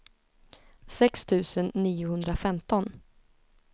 sex tusen niohundrafemton